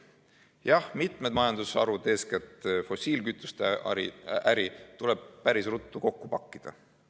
Jah, mitmed majandusharud, eeskätt fossiilkütuste äri, tuleb päris ruttu kokku pakkida.